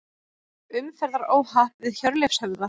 Umferðaróhapp við Hjörleifshöfða